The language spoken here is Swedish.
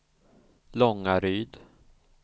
Långaryd